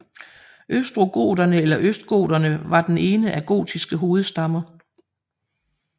Ostrogoterne eller østgoterne var den ene af gotiske hovedstammer